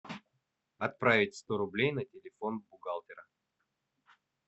отправить сто рублей на телефон бухгалтера